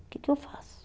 O que que eu faço?